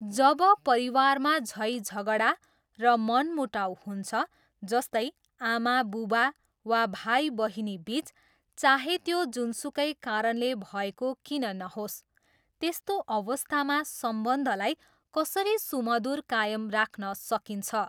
जब परिवारमा झैझगडा र मनमुटाउ हुन्छ, जस्तै, आमाबुबा वा भाइबहिनीबिच, चाहे त्यो जुनसुकै कारणले भएको किन नहोस्, त्यस्तो अवस्थामा सम्बन्धलाई कसरी सुमधुर कायम राख्न सकिन्छ?